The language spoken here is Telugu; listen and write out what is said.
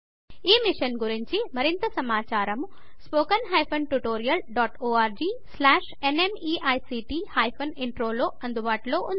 ఈ మిషన్ మీద మరింత సమాచారం spoken hyphen tutorial dot org slash NMEICT hyphen Introలో అందుబాటులో ఉంది